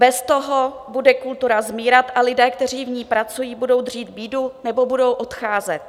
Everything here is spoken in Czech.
Bez toho bude kultura zmírat a lidé, kteří v ní pracují, budou třít bídu nebo budou odcházet.